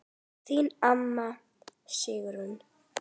Þín amma, Sigrún.